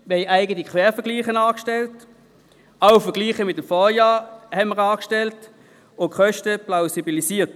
Wir haben eigene Quervergleiche und auch Vergleiche mit den Vorjahren angestellt und die Kosten plausibilisiert.